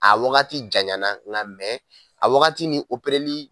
A wagati janyana nga mɛn a wagati ni opereli